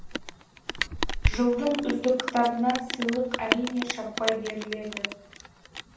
жылдың үздік кітабына сыйлық әрине шаппай беріледі